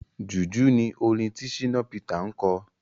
Jùjú ni orin tí Shina Peter ń kọ.